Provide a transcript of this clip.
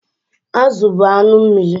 Azụ bụ anụ mmiri.